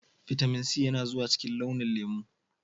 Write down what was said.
Vitamin C yana zuwa cikin launi lemu.